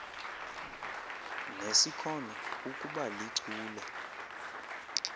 nesikhono ukuba lichule